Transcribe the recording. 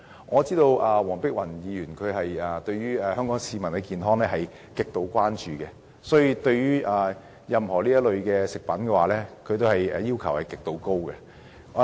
我知道黃碧雲議員極度關注香港市民的健康，所以對於任何有關食物安全的法例，她也有極高的要求。